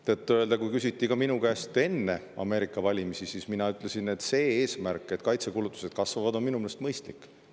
Tõtt-öelda, kui minu käest küsiti selle kohta enne Ameerika valimisi, siis mina ütlesin, et see eesmärk kaitsekulutusi kasvatada on minu meelest mõistlik.